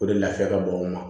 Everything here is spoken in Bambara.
O de lafiya ka bon o ma